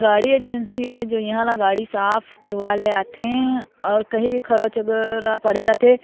गाड़ी एजेंसी है जो इहा ला गाड़ी साफ करवाए ले आथे और कही भी खरोच अगर आ पड़े रथे --